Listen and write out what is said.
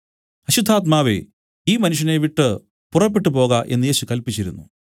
അശുദ്ധാത്മാവേ ഈ മനുഷ്യനെ വിട്ടു പുറപ്പെട്ടുപോക എന്നു യേശു കല്പിച്ചിരുന്നു